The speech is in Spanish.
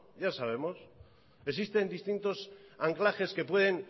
ya sabemos existen distintos anclajes que pueden